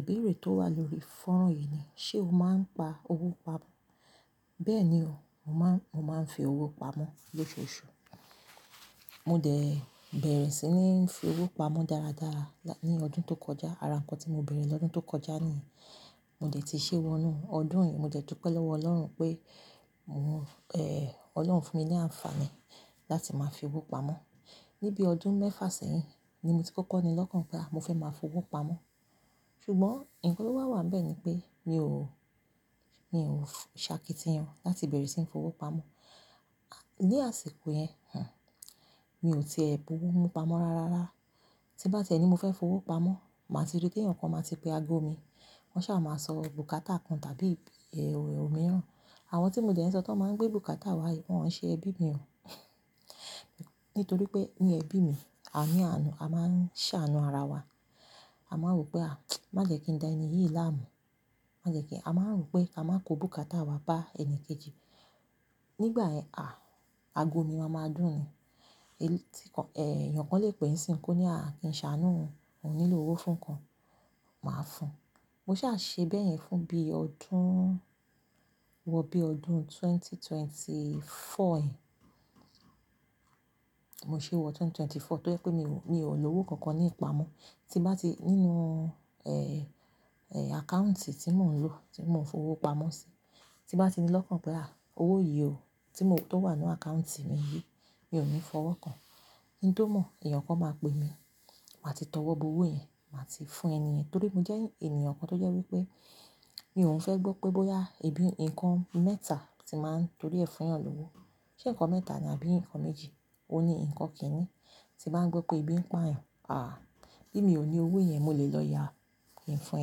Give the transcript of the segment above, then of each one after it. Ìbéèrè tó wà lórí fọ́nrán yìí ni, ṣe o máa ń pa owó pamọ́? Bẹ́ẹ̀ni o, mo máa ń fi owó pamọ́ lóṣooṣù. Mo dẹ̀ bẹ̀rẹ̀ sí ní fi owó pamọ́ dáradára ní ọdún tó kọjá. Ara ǹkan tí mo bẹ̀rẹ̀ lọ́dún tó kọjá nìyẹn, mo dẹ̀ ti ṣeé wọ inú ọdún yìí. Mo jẹ́ dúpẹ́ lọ́wọ́ Ọlọ́run pé Ọlọ́run fún mi ní àǹfààní láti máa fi owó pamọ́. Nibi ọdún mẹ́fà sẹ́yìn ni mo ti kọ́kọ́ ni lọ́kàn pé à, mo fẹ́ máa f'owó pamọ́. Ṣùgbọ́n nǹkan tó wá wà ńbẹ̀ ni pé mi ò, mi ò ṣakitiyan láti bẹ̀rẹ̀ sí ní f'owó pamọ́. Ní àsìkò yẹn, mi ò tiẹ̀ bu owó mú pamọ́ rárá. Tí ń bá ti ẹ ní mo fẹ́ f'owó pamọ́, màá ti rí téèyàn kan máa ti pe aago mi. Wọ́n ṣáà máa sọ bùkátà kan tàbí òmíràn. Àwọn tí mo dẹ̀ ń sọ tọ́n máa ń gbé bùkátà wá yìí, wọ́n ò ń ṣe ẹbí mi o. Nítorí pé ní ẹbí mi, a ní àánú, a máa ń ṣàánú ara wa. A máa ń wòó pé à, má jẹ́ kí n dá ẹni yìí láàmú. Má jẹ́ kí A máa ń ròó pé ká má kó bùkátà wa bá ẹni kejì. Nígbà yẹn, aago mi máa máa dún ni. Èèyàn kan lè pè nísìnyí kó ní à, kí n ṣàánú òun, òun nílò owó fún nǹkan, màá fún-un. Mo ṣáà ṣe bẹ́yẹn fún bí ọdún, wọ bí ọdún ẹgbẹ̀rún méjì ó lé ẹ́rinlélógún yẹn Mo ṣeé wọ ẹgbẹ̀rún méjì ó lé ẹ́rinlélógún tó jẹ́ pé mi ò, mi ò lówó kankan ní ìpamọ́. Tí n bá ti nínú àkáùntì tí mò ń lò, tí mò ń fowó pamọ́ sí, tí n bá ti ní lọ́kàn pé à, owó yìí o tó wà nínú àkáùntì mi yìí, mi ò ní fọwọ́ kàn-án. Kí n tó mọ̀, èèyàn kan máa pè mí, màá ti tọwọ́ bọ owó yẹn, màá ti fún ẹnìyẹn. Nítorí mo jẹ́ ènìyàn kan tó jẹ́ wípé mi ò ń fẹ́ gbọ́ pé bóyá ebi, nǹkan mẹ́ta tí n máa ń torí ẹ̀ fúnyàn lówó. Ṣé ǹkan mẹ́ta ni àbí ǹkan méjì? Òun ní nǹkan kìíní. Tí n bá ń gbọ́ pé ebi ń pààyàn, bí mi ò ní owó yẹn, mo lè lọ ya, kí n fún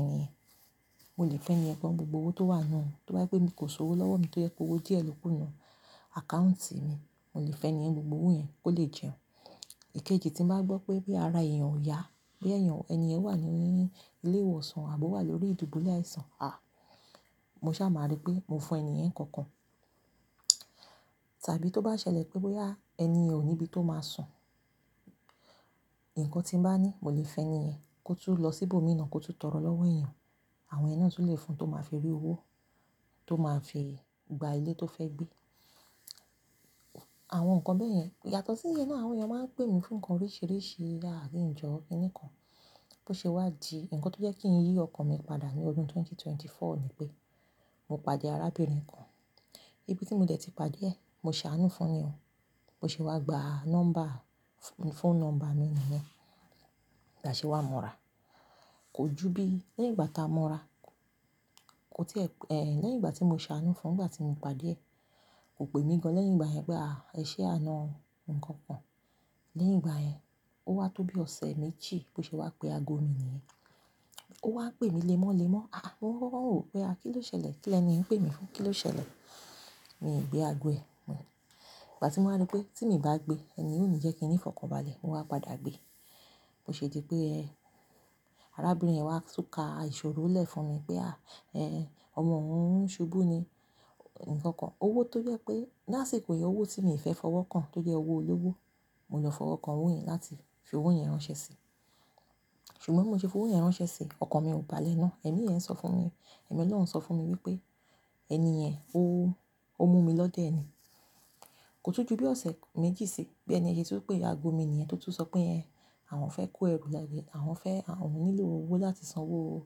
ẹni yẹn. Mo lè fún ẹnì yẹn gan-an ń gbogbo owó tó wà nínú, tó bá jẹ́ pé kò sòwò lọ́wọ́ mi tó jẹ́ pé owó díẹ̀ lókù nínú àkáùntì mi, mo lè fẹ́ni yẹn ń gbogbo owó yẹn kó lè jẹun. Ìkejì, tí ń bá gbọ́ pé bóyá ara èèyàn ò yá, bóyá èèyàn, ẹnì yẹn wà ní ilé ìwòsàn àbó wà lórí ìdùbúlẹ̀ áìsàn, àà, mo ṣáà máa rí pé mo fún ẹnìyẹn ńkan kan. Tàbí tó bá ṣẹlẹ̀ pé bóyá ẹnìyẹn ò níbi tó máa sùn, nǹkan tí n bá ní, mo lè fẹ́nì yẹn kó tún lọ sí ibòmíì náà kó tún tọrọ lọ́wọ́ ẹ̀èyàn. Àwọn yẹn náà tún lè fún-un tó máa fi rí owó, tó máa fi gba ilé tó fẹ́ gbé. Àwọn nǹkan bẹ́yẹn. Yàtọ̀ síyẹn náà, àwọn ẹ̀èyàn máa ń pè mí fún nǹkan oríṣìíríṣìí, àà kí n jọ̀ọ́ kiní kan Bó ṣe wá di nǹkan tó jẹ́ kí n yí ọkàn mi padà ní ọdún ẹgbẹ̀rún méjì ó lé ẹ́rinlélógún ni pé mo pàdé arábìnrin kan. Ibi tí mo dẹ̀ ti pàdé ẹ̀, mo ṣàánú fun ni o. Bó ṣe wá gba nọ́mbà, phone number mi nìyẹn. Bí a ṣe wá mọ́ra. Kò ju bí i lẹ́yìn ìgbà tá a mọ́ra, kò tí ẹ̀, lẹ́yìn ìgbà tí mo ṣàánú fún, nígbà tí mo pàdé ẹ̀, kò pè mí gan-an lẹ́yìn ìgbà yẹn pé aà, ẹ ṣeé àna o nǹkan ṅkàn. Lẹ́yìn ìgbà yẹn, ó wá tó bí ọ̀sẹ̀ méjì bó ṣe wá pe aago mi nìyẹn. Ó wá ń pè mí lemọ́lemọ́. À à, mo kọ́kọ́ ń wòó pé à, kí ló ṣẹlẹ̀? Kí lẹ́ni yìí ń pè mí fún? Kí ló ṣẹlẹ̀? Mi ì gbé aago ẹ̀. Ìgbà tí mo wá ri pé tí miì bá gbe, ẹnì yìí ò ní jẹ́ kí n nífọ̀kànbalẹ̀, mo wá padà gbe. Bo ṣe di pé arábìnrin wa tún ka ìṣòro lẹ̀ fún mi pé à, ẹ, ọmọ òun ṣubú ni nǹkan kan. Owó tó jẹ́ pé ní àsìkò yẹn owó tí mi ò fẹ́ fọwọ́ kan tó jẹ́ owó olówó, mo lọ fọwọ́ kan owó yẹn láti fi owó yẹn ránṣẹ́ si. Ṣùgbọ́n bí mo ṣe f'owó yẹn ránṣẹ́ síi, ọkàn mi ò balẹ̀ náà. Ẹ̀mí yẹn sọ fún mi, ẹ̀mí Ọlọ́run sọ fún mi wípé ẹnìyẹn, ó, ó mú mi lọ́dẹ̀ ni. Kò tún ju bí ọ̀sẹ̀ méjì síi bí ẹni yẹn ṣe tún pe aago mi nìyẹn tó tún sọ pé ẹ, àwọn fẹ́ kó ẹrú, àwọn fẹ́, àwọn nílò owó láti san owó,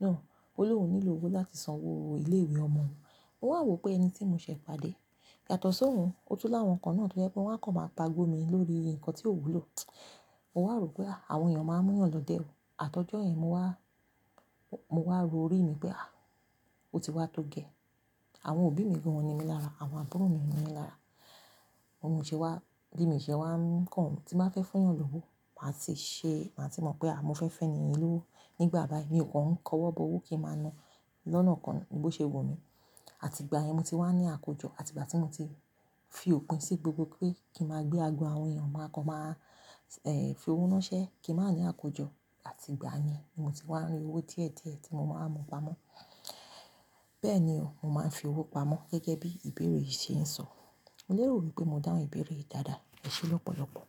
no Ó lóun nílò owó láti san owó ilé-ìwé ọmọ òun. Mo wá ń wòó pé ẹni tí mo ṣẹ̀ẹ̀ pàdé. Yàtọ̀ sóun, ó tún láwọn kan náà tó jẹ́ pé wọ́n á kàn máa paago mi lórí nǹkan tí ò wúlò. Mo wá ròó pé áà, àwọn èèyàn máa ń múyàn lọ́dẹ̀ o. Àtọjọ́ yẹn mo wá, mo wá ro orí mi pé à, ó ti wá tó gẹ́ẹ́. Àwọn òbí mi gan-an ò ń ni mí lára, àwọn àbúrò mi ò ń ni mí lára. Bi mo ṣe wá, bí miì ṣe wá ń kàn, tí n bá fẹ́ fúnyàn lówó, màá ti ṣe, màá ti mọ̀ pé aà, mo fẹ́ f'ẹ́ni yẹn lówó. Nígbà báyìí, mi o kàn ń kọwọ́ bọ owó kí n máa na lọ́nàkọnà bó ṣe wù mí. Àtìgbà yẹn mo ti wá ń ní àkójọ, àtìgbà tí mo ti fi òpin sí gbogbo pé kí n máa gbé aago àwọn èèyàn, máa kàn máa, fi owó ránṣẹ́, kí n má ní àkójọ. Àtìgbà yẹn ni mo ti wá ń rí owó díẹ̀díẹ̀ tí mo máa ń mú pamọ́. Bẹ́ẹ̀ni o, mo máa ń fi owó pamọ́ gẹ́gẹ́ bí ìbéèrè yìí ṣe ń sọ. Mo lérò wípé mo dáhùn ìbéèrè yìí dáadáa. Ẹ ṣé lọ́pọ̀lọpọ̀.